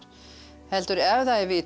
heldur ef það er vitað